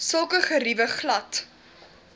sulke geriewe glad